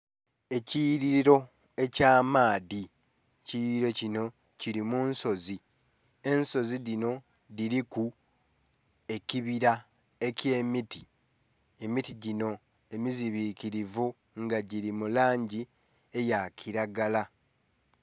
Ekiyughililo eky'amaadhi. Ekiyughililo kinho kili mu nsozi. Ensozi dhinho dhiliku ekibila eky'emiti, emiti ginho emizibinkilivu nga gili mu langi eya kilagala